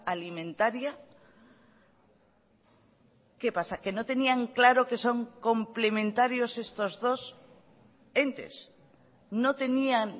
alimentaria qué pasa que no tenían claro que son complementarios estos dos entes no tenían